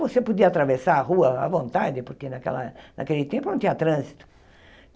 Você podia atravessar a rua à vontade, porque naquela naquele tempo não tinha trânsito.